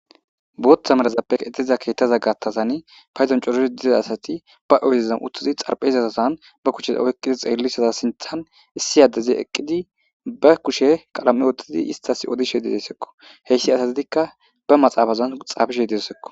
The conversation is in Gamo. booththa merazappe qexiiza keettaza gaattasani payzon corozi dida asati ba oydezan uttuzi xarphe izatosan ba kuche oykqidi xeellisaza sinthan issi addezi eqqidi ba kushe qalam7e oottadi istas odishe di dessekko heyssi asatitikka ba maxaabazan xaabishe desekko